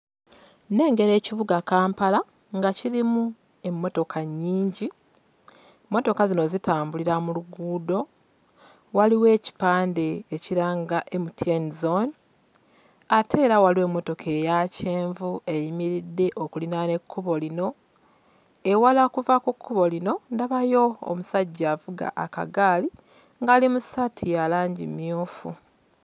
Nnengera ekibuga Kampala nga kirimu emmotoka nnyingi mmotoka zino zitambulira mu luguudo waliwo ekipande ekiranga MTN Zone ate era waliwo emmotoka eya kyenvu eyimiridde okulinaana ekkubo lino ewala okuva ku kkubo lino ndabayo omusajja avuga akagaali ng'ali mu ssaati ya langi mmyufu.